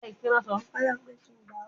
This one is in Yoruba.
Baluwe ati igbonse